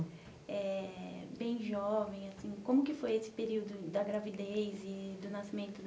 Eh... Bem jovem, assim, como que foi esse período da gravidez e do nascimento da